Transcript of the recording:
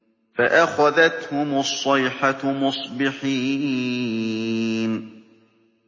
فَأَخَذَتْهُمُ الصَّيْحَةُ مُصْبِحِينَ